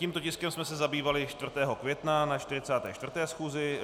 Tímto tiskem jsme se zabývali 4. května na 44. schůzi.